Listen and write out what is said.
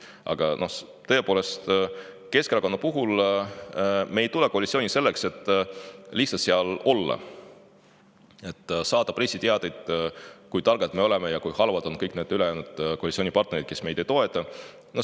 Aga tõepoolest, Keskerakond ei koalitsiooni selleks, et seal lihtsalt olla, et saata pressiteateid selle kohta, kui targad me oleme ja kui halvad on kõik koalitsioonipartnerid, kes meid ei toeta.